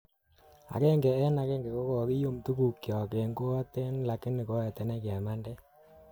Agenge en agenge ko kokium tukukyok en koaten lakini koetench kemanden